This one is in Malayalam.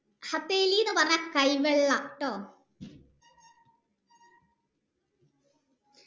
എന്ന് പറഞ്ഞാൽ കൈ വെള്ളാട്ടോ